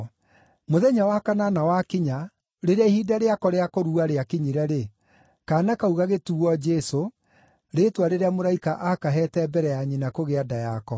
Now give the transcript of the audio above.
Mũthenya wa kanana wakinya, rĩrĩa ihinda rĩako rĩa kũrua rĩakinyire-rĩ, kaana kau gagĩtuuo Jesũ, rĩĩtwa rĩrĩa mũraika aakaheete mbere ya nyina kũgĩa nda yako.